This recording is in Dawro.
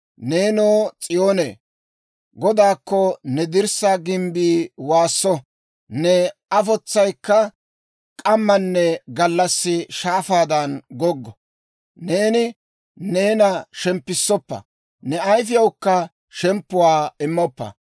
Neenoo, S'iyoonee, Godaakko ne dirssaa gimbbii waasso! Ne afotsayikka k'ammanne gallassi shaafaadan goggo! Neeni neena shemppissoppa; ne ayifiyawukka shemppuwaa immoppa!